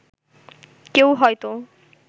কেউ হয়তো